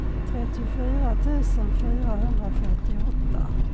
trettiofyra tusen fyrahundrafyrtioåtta